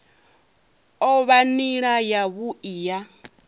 o vha nila yavhui ya